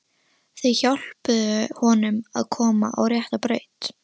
Þau hjálpuðu honum að komast á rétta braut.